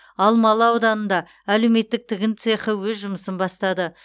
алмалы ауданында әлеуметтік тігін цехы өз жұмысын бастады